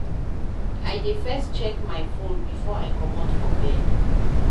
I dey first check my fone before I comot from bed.